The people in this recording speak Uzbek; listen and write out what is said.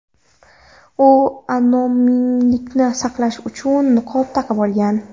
U anonimlikni saqlash uchun niqob taqib olgan.